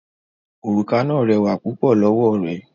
Òrùka náà rẹwà púpọ̀ lọ́wọ́ rẹ̀